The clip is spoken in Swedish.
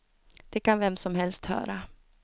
Det kan vem som helst höra.